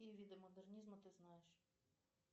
какие виды модернизма ты знаешь